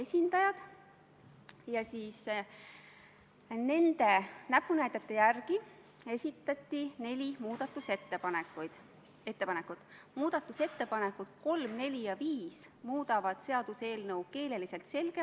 Pärast eelnõu heakskiitmist otsustas komisjon saata eelnõu tänase istungi päevakorda teisele lugemisele ja on ettepanek panna eelnõu lõpphääletusele.